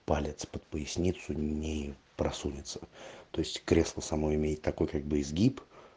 палец под поясницу не просунется то есть кресло само имеет такой как бы изгиб